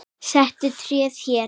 Settu tréð hér.